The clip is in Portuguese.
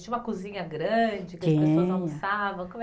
Tinha uma cozinha grande. Tinha. Que as pessoas almoçavam? Como é